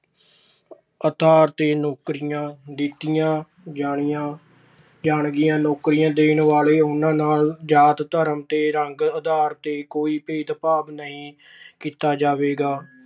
ਆਧਾਰ ਤੇ ਨੌਕਰੀਆਂ ਦਿੱਤੀਆਂ ਜਾਣਗੀਆਂ। ਨੌਕਰੀਆਂ ਦੇਣ ਵਾਲੇ ਉਹਨਾਂ ਨਾਲ ਜਾਤ-ਧਰਮ ਤੇ ਰੰਗ ਆਧਾਰ ਤੇ ਕੋਈ ਭੇਦਭਾਵ ਨਹੀਂ ਕੀਤਾ ਜਾਵੇਗਾ।